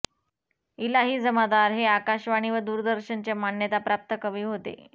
इलाही जमादार हे आकाशवाणी व दूरदर्शनचे मान्यताप्राप्त कवी होते